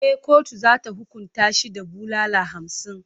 E, kotu za ta hukunta shi da bulala hamsin.